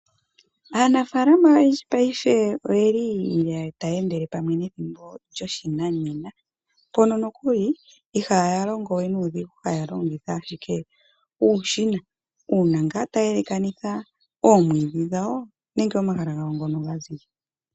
Aanafaalama oyendji mongashingeyi oyeli taya endele pamwe nethimbo lyopashinanena, mpono nokuli ihaya longo we nuudhigu haya longitha ashike uushina uuna ngaa taya elekanitha oomwiidhi dhawo nenge omahala ngono ga ziza .